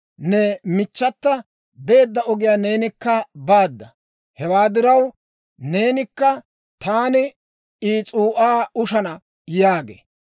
Ne michchata beedda ogiyaa neenikka baada. Hewaa diraw, neenakka taani I s'uu'aa ushshana› yaagee.